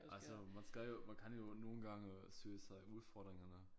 Altså man skal jo man kan jo nogle gange søge sig udfordringerne